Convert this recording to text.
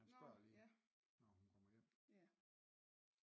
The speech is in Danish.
Han spørger lige når han kommer hjem